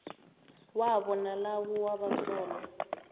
wabo nalawo wabasolwa